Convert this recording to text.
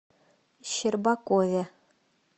щербакове